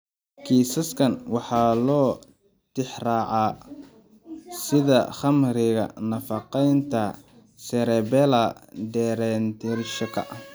Kiisaskaan waxaa loo tixraacaa sida khamriga nafaqeynta cerebellar deererationka.